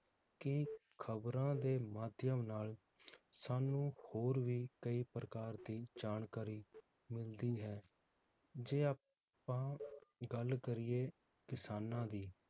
ਕਿ ਖਬਰਾਂ ਦੇ ਮਾਧਿਅਮ ਨਾਲ ਸਾਨੂੰ ਹੋਰ ਵੀ ਕਈ ਪ੍ਰਕਾਰ ਦੀ ਜਾਣਕਾਰੀ ਮਿਲਦੀ ਹੈ ਜੇ ਆਪਾਂ ਗੱਲ ਕਰੀਏ ਕਿਸਾਨਾਂ ਦੀ